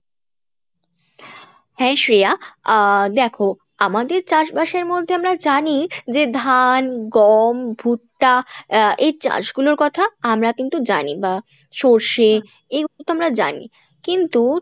হ্যাঁ শ্রেয়া আহ দেখো আমাদের চাষবাসের মধ্যে আমরা জানি যে ধান, গম, ভুট্টা আহ এই চাষ গুলোর কথা আমরা কিন্তু জানি বা সর্ষে এইগুলো তো আমরা জানি কিন্তু